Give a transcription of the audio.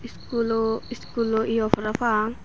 schoolo schoolo yo para pang.